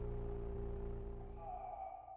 হ